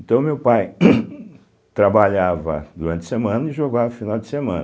Então, meu pai trabalhava durante a semana e jogava no final de semana.